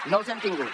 no els hi hem tingut